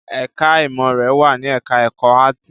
Ẹ̀ká ìmọ̀ rẹ̀ wà ní ẹ̀ká ẹ̀kọ́ áàtì